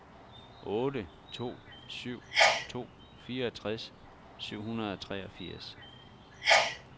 otte to syv to fireogtres syv hundrede og treogfirs